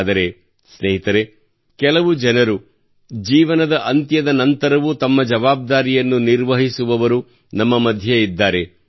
ಆದರೆ ಸ್ನೇಹಿತರೇ ಕೆಲವು ಜನರು ಜೀವನದ ಅಂತ್ಯದ ನಂತರವೂ ತಮ್ಮ ಜವಾಬ್ದಾರಿಯನ್ನು ನಿರ್ವಹಿಸುವವರು ನಮ್ಮ ಮಧ್ಯೆ ಇದ್ದಾರೆ